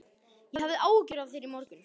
Ég hafði áhyggjur af þér í morgun.